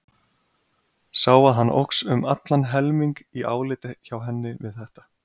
Sá að hann óx um allan helming í áliti hjá henni við þetta.